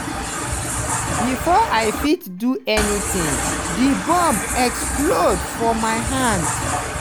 bifor i fit do anytin di bomb explode for my hand."